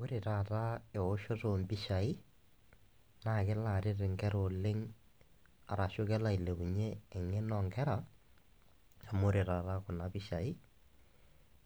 Ore taata eoshoto ompishai naa kelo aret nkera oleng' arashu kelo ailepunyie eng'eno oonkera amu ore taata kuna pishai